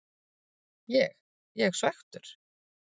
Ég ég svekktur?